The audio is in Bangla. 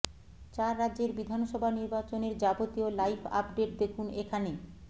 চার রাজ্যের বিধানসভা নির্বাচনের যাবতীয় লাইভ আপডেট দেখুন এখানে